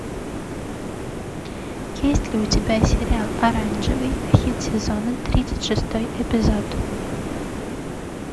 есть ли у тебя сериал оранжевый хит сезона тридцать шестой эпизод